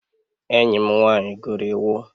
Enyi m nwanyị gụrụ iwu